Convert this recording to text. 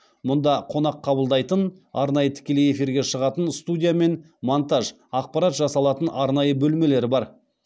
мұнда қонақ қабылдайтын арнайы тікелей эфирге шығатын студия мен монтаж ақпарат жасалатын арнайы бөлмелер бар